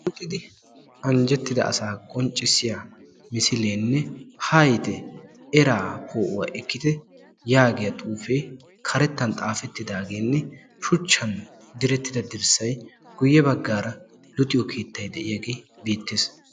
Uttidi anjjettida asaa qonccissiya misileenne haayitte eraa poo'uwa ekkite xuufee karettan xaafettidaageenne shuchchan direttida dirssay guye baggaara luxiyo keettay de'iyaagee beettees.